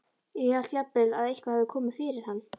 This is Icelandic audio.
Ég hélt jafnvel að eitthvað hefði komið fyrir hann.